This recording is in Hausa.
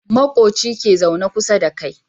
Makoci ke zaune kusa da kai